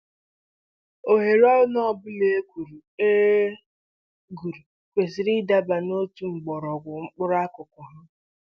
Ohere ọnụ ọbụla e guru e guru kwesịrị ịdaba n'otu mgbọrọgwụ mkpụrụ akụkụ ha